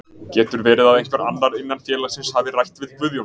Getur verið að einhver annar innan félagsins hafi rætt við Guðjón?